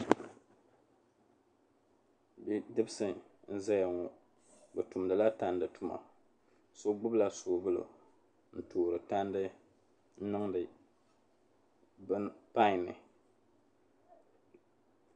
Bidibisi n-zaya ŋɔ bɛ tumdila tandi tuma so gbubila soobuli n-toori tandi n-niŋdi pan ni.